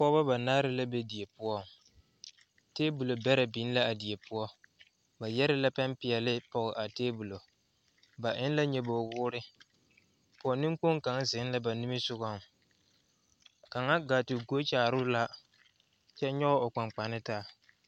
Pɔgeba banaare la be die poɔŋ tebol bɛrɛ biŋ la a die poɔ ba yɛre la pɛmpeɛle pɔge a tebolo ba eŋ la nyɔbogi woore pɔge neŋkpoŋ kaŋa zeŋ la ba nimisɔgɔŋ kaŋa gaa te gɔɔ kyaare o la kyɛ nyɔge o kpaŋkpane taa.